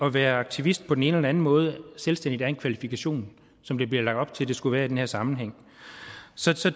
at være aktivist på den ene eller den anden måde selvstændigt er en kvalifikation som der bliver lagt op til at det skulle være i den her sammenhæng